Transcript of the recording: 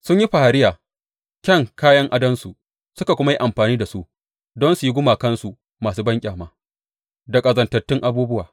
Sun yi fariya kyan kayan adonsu suka kuma yi amfani da su don su yi gumakansu masu banƙyama, da ƙazantattun abubuwa.